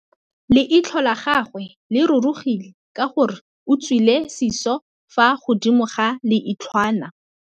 Leitlhô la gagwe le rurugile ka gore o tswile sisô fa godimo ga leitlhwana.